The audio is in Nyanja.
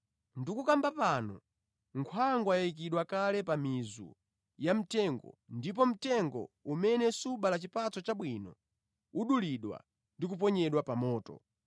Tikukamba pano nkhwangwa yayikidwa kale pa mizu ya mitengo, ndipo mtengo umene subala chipatso chabwino udulidwa ndi kuponyedwa pa moto.